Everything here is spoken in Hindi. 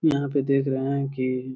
यहाँ पे देख रहे है की --